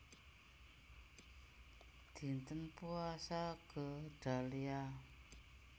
Dinten Puasa Gedalia